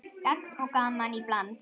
Gagn og gaman í bland.